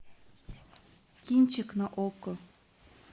кинчик на окко